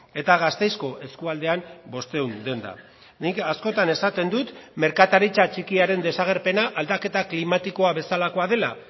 eta gasteizko eskualdean bostehun denda nik askotan esaten dut merkataritza txikiaren desagerpena aldaketa klimatikoa bezalakoa dela